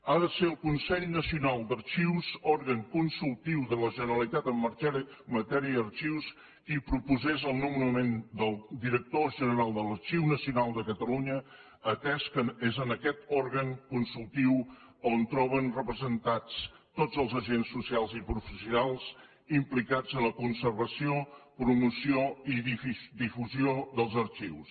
havia de ser el consell nacional d’arxius òrgan consultiu de la generalitat en matèria d’arxius qui proposés el nomenament del director general de l’arxiu nacional de catalunya atès que és en aquest òrgan consultiu on es troben representats tots els agents socials i professionals implicats en la conservació la promoció i la difusió dels arxius